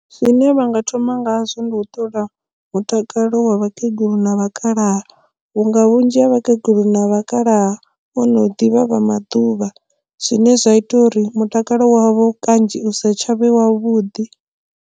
Zwine vha nga thoma ngazwo ndi u ṱola mutakalo wa vhakegulu na vhakalaha vhunga vhunzhi ha vhakegulu na vhakalaha vhono ḓivha vha maḓuvha zwine zwa ita uri mutakalo wavho kanzhi u sa tshavha wavhuḓi.